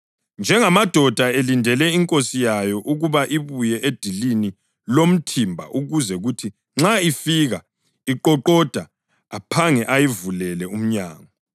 njengamadoda elindele inkosi yawo ukuba ibuye edilini lomthimba ukuze kuthi nxa ifika iqoqoda aphange ayivulele umnyango.